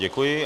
Děkuji.